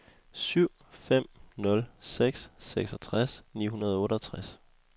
syv fem nul seks seksogtres ni hundrede og otteogtres